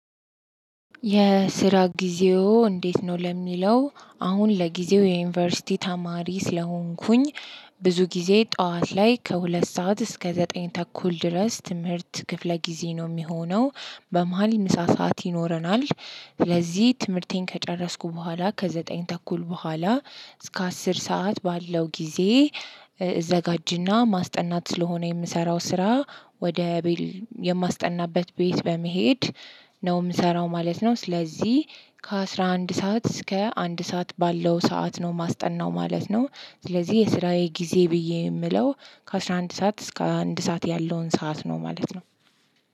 የስራ ጊዜው እንዴት ነው? ለሚለው አሁን ለጊዜው የዩኒቨርሲቲ ተማሪ ስለሆንኩኝ ብዙ ጊዜ ጠዋት ላይ ከሁለት ሰዓት እስከ ዘጠኝ ተኩል ድረስ ትምህርት ክፍለ ጊዜ ነው የሚሆነው። በመሃል ምሳ ሰዓት ይኖረናል። ለዚህ ትምህርቴን ከጨረስኩ በኋላ ከዘጠኝ ተኩል በኋላ እስከ አስር ሰዓት ባለው ጊዜ እዘጋጅና ማስጠናት ስለሆነ የምሰራው ስራ ወደ ቤል የማስጠናበት ቤት በመሄድ ነው የምሰራው ማለት ነው። ስለዚህ ከ አስራ አንድ ሰዓት እስከ አንድ ሰዓት ባለው ሰዓት ነው ማስጠናው ማለት ነው። ስለዚህ የስራዬ ጊዜ ብዬ የምለው ከአስራ አንድ ሰዓት እስከ አንድ ሰዓት ያለውን ሰዓት ነው ማለት ነው።